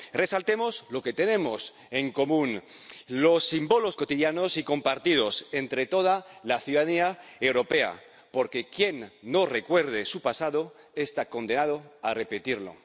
Resaltamos lo que tenemos en común, los símbolos cotidianos y compartidos entre toda la ciudadanía europea, porque quien no recuerde su pasado está condenado a repetirlo.